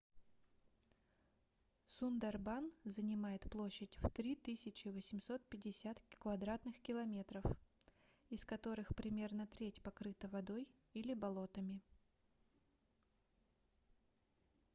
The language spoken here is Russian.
сундарбан занимает площадь в 3850 кв км из которых примерно треть покрыта водой или болотами